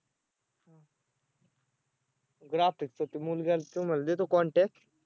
graphic च तो मुलगा आणि तू म्हंटले तर contact